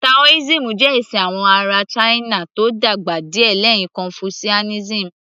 Taoism jẹ́ ẹ̀sìn àwọn ará china tó dàgbà díẹ̀ lẹ́yìn confucianism